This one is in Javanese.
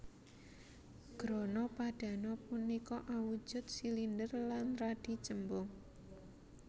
Grana Padano punika awujud silinder lan radi cembung